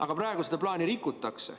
Aga praegu seda plaani rikutakse.